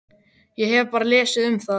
Ég hef bara lesið um það.